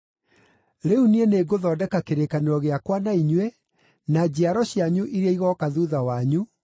“Rĩu niĩ nĩngũthondeka kĩrĩkanĩro gĩakwa na inyuĩ, na njiaro cianyu iria igooka thuutha wanyu,